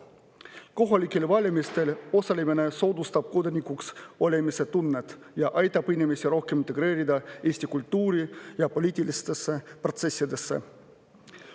Kohalikel valimistel osalemine soodustab kodanikuks olemise tunnet ja aitab inimesi rohkem integreerida eesti kultuuri ja siinsetesse poliitilistesse protsessidesse.